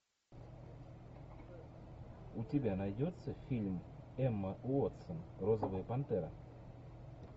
у тебя найдется фильм эмма уотсон розовая пантера